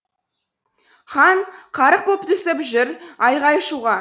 хан қарық боп түсіп жүр айғай шуға